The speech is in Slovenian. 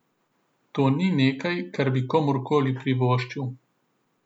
To ni nekaj, kar bi komurkoli privoščil.